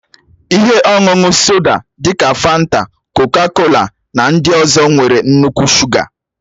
Ihe ọṅụṅụ soda dị ka fanta, kọka-kola na ndị ọzọ nwere nnukwu shuga.